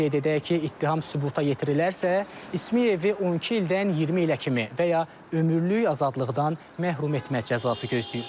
Qeyd edək ki, ittiham sübuta yetirilərsə, İsmıyevi 12 ildən 20 ilə kimi və ya ömürlük azadlıqdan məhrum etmə cəzası gözləyir.